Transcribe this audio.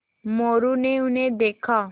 मोरू ने उन्हें देखा